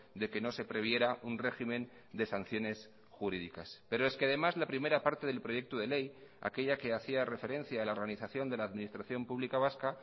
de que no se previera un régimen de sanciones jurídicas pero es que además la primera parte del proyecto de ley aquella que hacía referencia a la organización de la administración pública vasca